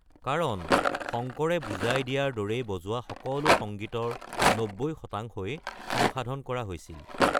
কাৰণ শংকৰে বুজাই দিয়াৰ দৰে বজোৱা সকলো সংগীতৰ ৯০ শতাংশই সংসাধন কৰা হৈছিল।